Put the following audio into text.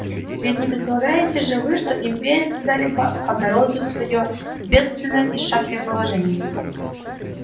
ведь не предлагаете же вы что империя когда-либо обнародует своё бедственное и шаткое положение